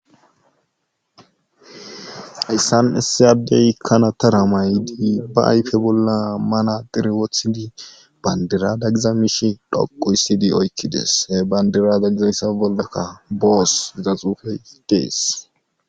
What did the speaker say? hayssan issi addey ikkana tara maydi ba ayfe bolla mana diri wothidi bandirada giza mish dhoqu hyssidi oykkides he bandirada giza missa bolgakka boos giza xuufe dees